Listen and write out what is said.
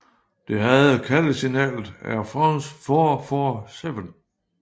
Det havde kaldesignalet Airfrans four four seven